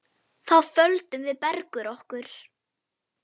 Þá földum við Bergur okkur.